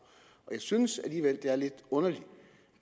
jeg synes alligevel det er lidt underligt